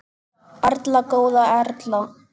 Erla góða Erla.